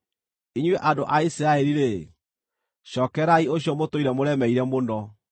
Inyuĩ andũ a Isiraeli-rĩ, cookererai ũcio mũtũire mũremeire mũno.